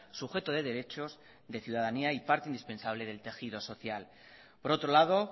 sujeto de derechos de ciudadanía y parte indispensable del tejido social por otro lado